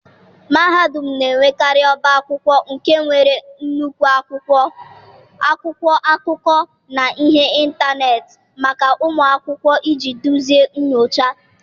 mahadum na-enwekarị ọba akwụkwọ nke nwere nnukwu akwụkwọ, akwụkwọ akụkọ, na ihe ntanetị maka ụmụ akwụkwọ iji duzie nyocha.